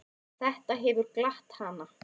Þetta hefur glatt hana.